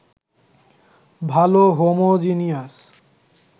ভাল হোমোজিনিয়াস